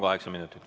Kaheksa minutit.